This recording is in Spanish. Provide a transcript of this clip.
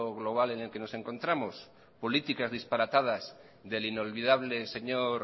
global en el que nos encontramos políticas disparatadas del inolvidable señor